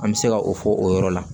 An bɛ se ka o fɔ o yɔrɔ la